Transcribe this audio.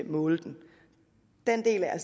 måle den den del er